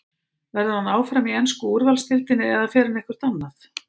Verður hann áfram í ensku úrvalsdeildinni eða fer hann eitthvert annað?